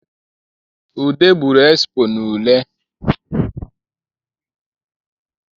Ude gburu esipo n’ule